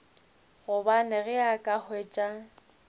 gobane ge a ka hwetša